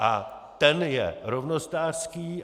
A ten je rovnostářský.